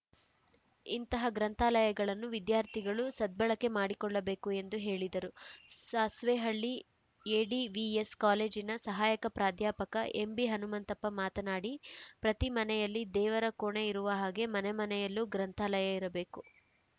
ಇಂತಹ ಗ್ರಂಥಾಲಯಗಳನ್ನು ವಿದ್ಯಾರ್ಥಿಗಳು ಸದ್ಬಳಕೆ ಮಾಡಿಕೊಳ್ಳಬೇಕು ಎಂದು ಹೇಳಿದರು ಸಾಸ್ವೇಹಳ್ಳಿ ಎಡಿವಿಎಸ್‌ ಕಾಲೇಜಿನ ಸಹಾಯಕ ಪ್ರಾಧ್ಯಾಪಕ ಎಂಬಿ ಹನುಮಂತಪ್ಪ ಮಾತನಾಡಿ ಪ್ರತಿ ಮನೆಯಲ್ಲಿ ದೇವರ ಕೋಣೆ ಇರುವ ಹಾಗೆ ಮನೆ ಮನೆಯಲ್ಲೂ ಗ್ರಂಥಾಲಯ ಇರಬೇಕು